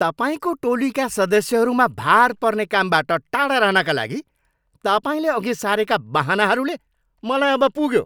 तपाईँको टोलीका सदस्यहरूमा भार पर्ने कामबाट टाढा रहनका लागि तपाईँले अघि सारेका बहानाहरूले मलाई अब पुग्यो।